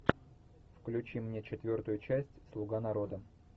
включи мне четвертую часть слуга народа